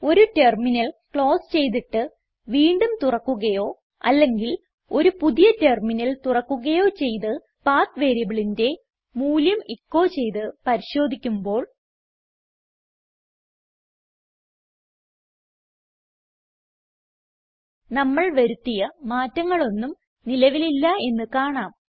ഒരു terminal close ചെയ്തിട്ട് വീണ്ടും തുറക്കുകയോ അല്ലെങ്കിൽ ഒരു പുതിയ ടെർമിനൽ തുറക്കുകയോ ചെയ്ത് പത്ത് വേരിയബിളിന്റെ മൂല്യം എച്ചോ ചെയ്ത് പരിശോധിക്കുമ്പോൾ നമ്മൾ വരുത്തിയ മാറ്റങ്ങളൊന്നും നിലവിലില്ല എന്ന് കാണാം